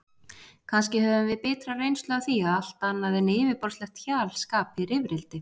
Kannski höfum við bitra reynslu af því að allt annað en yfirborðslegt hjal skapi rifrildi.